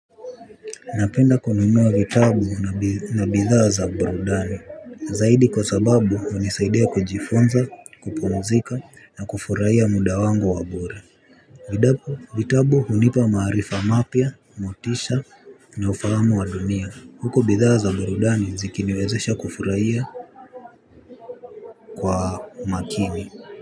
Napenda kunumua vitabu na bidhaa za burudani. Zaidi kwa sababu unisaidia kujifunza kupumzika na kufuraiya muda wangu wabure. Vitabu unipa maarifa mapia, motisha na ufahamu wa dunia. Huku bidhaa za burudani zikiniwezesha kufuraiya kwa makini.